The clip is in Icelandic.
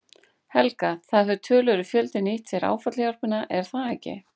Helga: Það hefur töluverður fjöldi nýtt sér áfallahjálpina er það ekki?